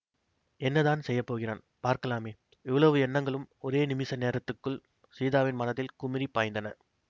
என்னதான் செய்ய போகிறான் பார்க்கலாமே இவ்வளவு எண்ணங்களும் ஒரே நிமிஷ நேரத்துக்குள் சீதாவின் மனதில் குமுறிப் பாய்ந்தன